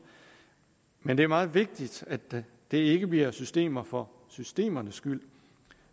men det er meget vigtigt at det det ikke bliver systemer for systemernes skyld